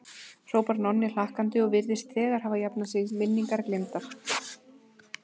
hrópar Nonni hlakkandi og virðist þegar hafa jafnað sig, minningar gleymdar.